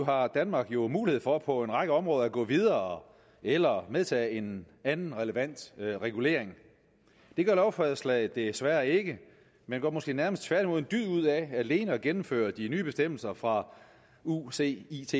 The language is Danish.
har danmark jo mulighed for på en række områder at gå videre eller medtage en anden relevant regulering det gør lovforslaget desværre ikke man gør måske nærmest tværtimod en dyd ud af alene at gennemføre de nye bestemmelser fra ucits